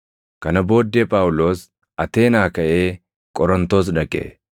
Kana booddee Phaawulos Ateenaa kaʼee Qorontos dhaqe.